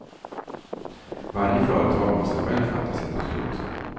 Varje företag måste själv fatta sitt beslut.